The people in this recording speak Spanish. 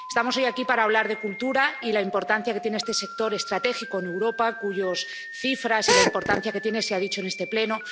Estamos hoy aquí para hablar de cultura y de la importancia que tiene este sector estratégico en Europa, cuyas cifras y la importancia que tiene se han mencionado en este Pleno.